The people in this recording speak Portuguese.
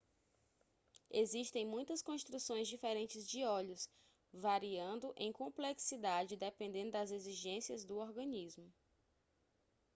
existem muitas construções diferentes de olhos variando em complexidade dependendo das exigências do organismo